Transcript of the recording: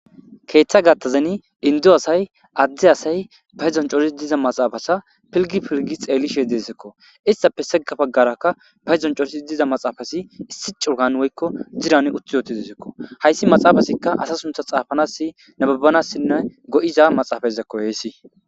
keeththa gattazeni indu asay addi asay pahezoncorisi diza maxaafasa pilgi pilgi xeellishe dezekko istappe segga bagarakka bahedon corisi diza maxaafasi issi curgan woykko ziran uttiyooti dezekko hayssi maxaafasikka asa suntha xaafanas nebabbanassinne go7iza maxaafayizekko heessi